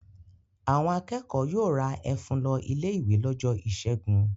Àwọn akẹ́kọ̀ọ́ yóò ra ẹ̀fún lọ ilé-ìwé lọ́jọ́ ìṣẹ́gun.